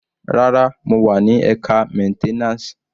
Rárá, mo wà ni ẹka maintenance.